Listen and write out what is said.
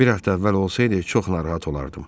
Bir həftə əvvəl olsaydı, çox narahat olardım.